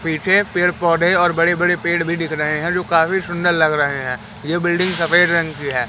पीछे पेड़ पौधे और बड़े बड़े पेड़ भी दिख रहे हैं जो काफी सुंदर लग रहे हैं ये बिल्डिंग सफेद रंग की है।